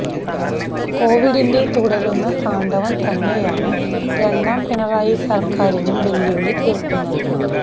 കൊവിഡിന്റെ തുടരുന്ന താണ്ഡവം തന്നെയാണ് രണ്ടാം പിണറായി സര്ക്കാരിനും വെല്ലുവിളി തീര്ക്കുന്നത്